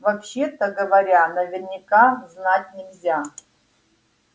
вообще-то говоря наверняка знать нельзя